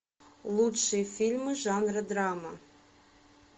лучшие фильмы жанра драма